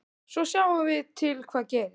Svo sjáum við til hvað gerist.